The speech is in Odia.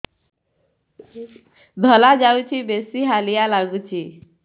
ଧଳା ଯାଉଛି ବେଶି ହାଲିଆ ଲାଗୁଚି